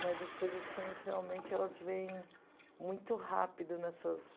Mas as coisas ruins realmente elas vêm muito rápido nessas...